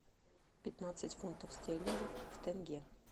пятнадцать фунтов стерлингов в тенге